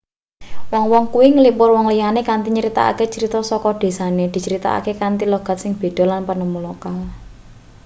wong-wong kuwi nglipur wong liyane kanthi nyritakake crita saka desane dicritakake kanthi logat sing beda lan penemu lokal